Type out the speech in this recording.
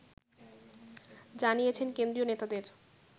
জানিয়েছেন কেন্দ্রীয় নেতাদের